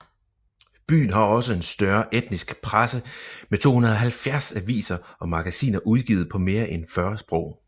Byen har også en større etnisk presse med 270 aviser og magasiner udgivet på mere end 40 sprog